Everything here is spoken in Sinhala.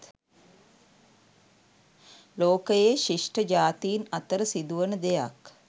ලෝකයේ ශිෂ්ඨ ජාතින් අතර සිදුවන දෙයක්